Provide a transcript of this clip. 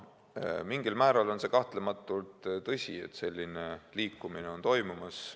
Mingil määral on kahtlematult tõsi, et selline liikumine on toimumas.